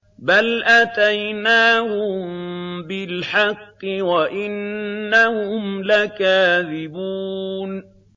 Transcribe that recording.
بَلْ أَتَيْنَاهُم بِالْحَقِّ وَإِنَّهُمْ لَكَاذِبُونَ